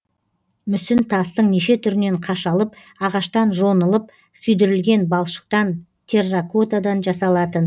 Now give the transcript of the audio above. мүсін тастың неше түрінен қашалып ағаштан жонылып күйдірілген балшықтан терракотадан жасалатын